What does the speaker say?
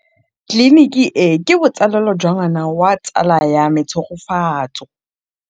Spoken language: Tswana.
Tleliniki e, ke botsalêlô jwa ngwana wa tsala ya me Tshegofatso.